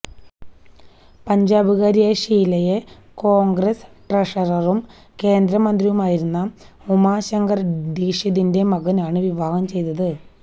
പഞ്ചാബുകാരിയായ ഷീലയെ കോൺഗ്രസ് ട്രഷററും കേന്ദ്രമന്ത്രിയുമായിരുന്ന ഉമാശങ്കർ ദീക്ഷിതിന്റെ മകനാണു വിവാഹംചെയ്തത്